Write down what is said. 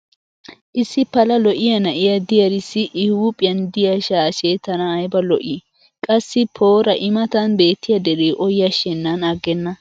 issi pala lo'iya na'iya diyaarissi i huuphiyan diya shaashshe tana ayba lo'ii? qassi poora i matan beetiya dere o yashshenan agenna !